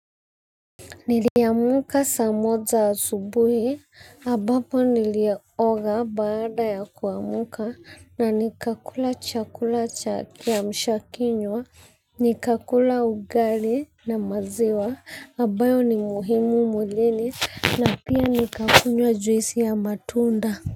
Niliamka sa moja asubuhi, ambapo nilioga baada ya kuamuka, na nikakula chakula cha kiamshakinywa, nikakula ugali na maziwa, ambayo ni muhimu mwilini, na pia nikakunywa juisi ya matunda.